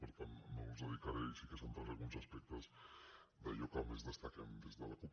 per tant no els dedi·caré i sí que centraré alguns aspectes d’allò que des·taquem des de la cup